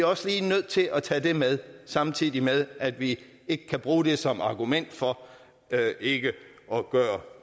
også lige nødt til at tage det med samtidig med at vi ikke kan bruge det som argument for ikke at gøre